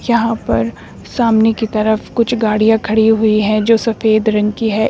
यहां पर सामने की तरफ कुछ गाड़ियां खड़ी हुई हैं जो सफेद रंग की है।